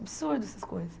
Absurdo essas coisas.